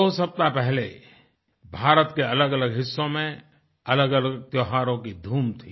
दो सप्ताह पहले भारत के अलग अलग हिस्सों में अलगअलग त्योहारों की धूम थी